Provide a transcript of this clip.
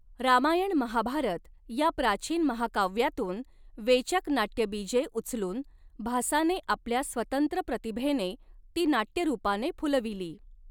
रामायण महाभारत या प्राचीन महाकाव्यांतून वेचक नाटयबीजे उचलून भासाने आपल्या स्वतंत्र प्रतिभेने ती नाट्यरूपाने फुलविली.